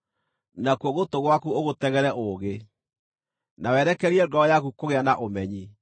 nakuo gũtũ gwaku ũgũtegere ũũgĩ, na werekerie ngoro yaku kũgĩa na ũmenyi,